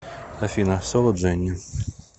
афина соло дженни